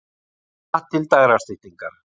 Stjána til dægrastyttingar.